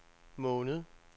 måned